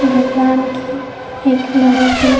भगवान की एक बड़ी सी --